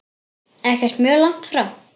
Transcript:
Ekkert mjög langt frá.